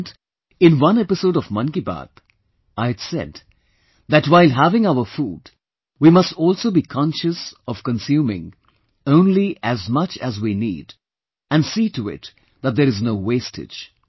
And, in one episode of Mann Ki Baat I had said that while having our food, we must also be conscious of consuming only as much as we need and see to it that there is no wastage